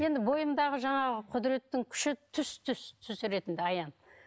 енді бойымдағы жаңағы құдіреттің күші түс түс түс ретінде аян